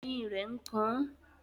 Eyín rẹ̀ ń kan àn